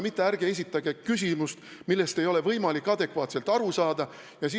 Ärge esitage küsimust, millest ei ole võimalik adekvaatselt aru saada!